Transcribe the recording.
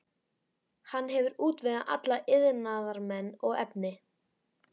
Hann hefur útvegað alla iðnaðarmenn og efni.